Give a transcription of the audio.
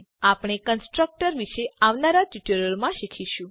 આપણે કન્સ્ટ્રક્ટર વિશે આવનારા ટ્યુટોરીયલોમાં શીખીશું